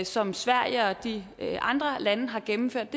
som sverige og de andre lande har gennemført